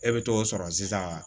E bɛ t'o sɔrɔ sisan